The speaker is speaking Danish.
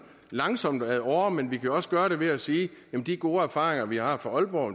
langsomt og ad åre men vi kunne også gøre det ved at sige at de gode erfaringer vi har fra aalborg